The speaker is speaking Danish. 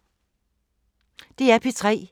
DR P3